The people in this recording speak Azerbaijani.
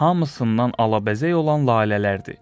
Hamısından ələbəzək olan lalələrdir.